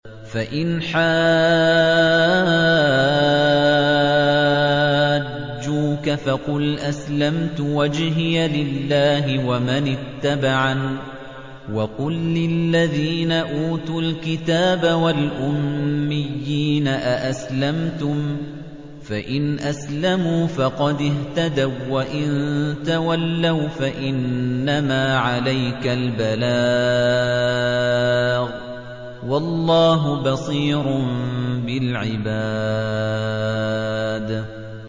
فَإِنْ حَاجُّوكَ فَقُلْ أَسْلَمْتُ وَجْهِيَ لِلَّهِ وَمَنِ اتَّبَعَنِ ۗ وَقُل لِّلَّذِينَ أُوتُوا الْكِتَابَ وَالْأُمِّيِّينَ أَأَسْلَمْتُمْ ۚ فَإِنْ أَسْلَمُوا فَقَدِ اهْتَدَوا ۖ وَّإِن تَوَلَّوْا فَإِنَّمَا عَلَيْكَ الْبَلَاغُ ۗ وَاللَّهُ بَصِيرٌ بِالْعِبَادِ